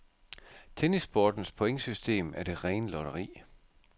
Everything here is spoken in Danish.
Tennissportens pointsystem er det rene lotteri.